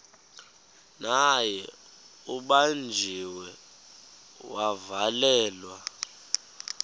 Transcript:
naye ubanjiwe wavalelwa